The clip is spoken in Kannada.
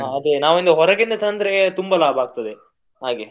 ಹ ಅದೆ ನಾವೊಂದು ಹೊರಗಿಂದ ತಂದ್ರೆ ತುಂಬ ಲಾಭ ಆಗ್ತದೆ ಹಾಗೆ.